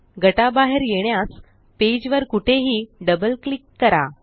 गटा बाहेर येण्यास पेज वर कुठेही डबल क्लिक करा